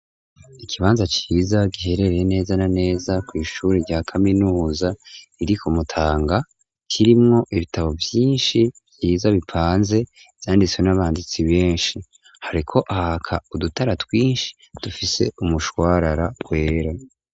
Ikibanza ciza giherereye neza na neza ku ishure rya kaminuza iri kumutanga kirimwo ibitabo vyinshi vyiza bipanze vyanditswe n'abanditsi benshi hariko haraka udutara twinshi dufise umushwarara kwera.